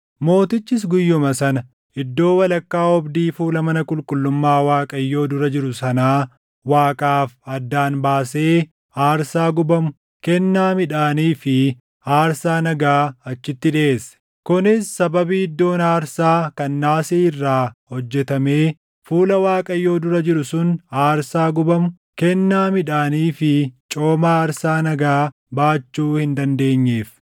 Mootichis guyyuma sana iddoo walakkaa oobdii fuula mana qulqullummaa Waaqayyoo dura jiru sanaa Waaqaaf addaan ni baasee aarsaa gubamu, kennaa midhaanii fi aarsaa nagaa achitti dhiʼeesse; kunis sababii iddoon aarsaa kan naasii irraa hojjetamee fuula Waaqayyoo dura jiru sun aarsaa gubamu, kennaa midhaanii fi cooma aarsaa nagaa baachuu hin dandeenyeef.